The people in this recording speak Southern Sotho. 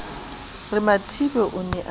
re mathibe o ne a